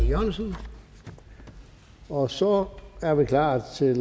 e jørgensen og så er vi klar til